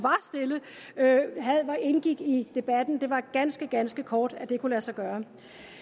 var stille indgik i debatten det var ganske ganske kort tid at det kunne lade sig gøre